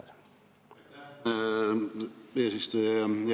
Aitäh, hea eesistuja!